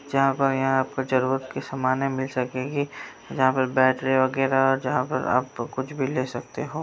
जरूरत के सामाने मिल सकेगी। जहां पर बैटरी वगैरा जहां पर आप कुछ भी ले सकते हो।